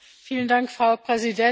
Frau Präsidentin!